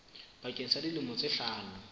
bakeng sa dilemo tse hlano